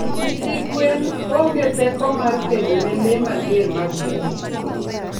nyithi gwen onge teko mar kedone lee mager mag bungu